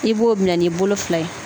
I b'o minɛ n'i bolo fila ye